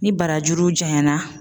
Ni barajuru janyara.